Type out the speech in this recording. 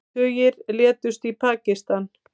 Tugir létust í Pakistan